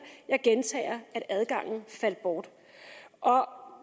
jeg gentager at adgangen faldt bort